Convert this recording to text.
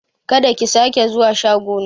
Kada ki sake zuwa shago na!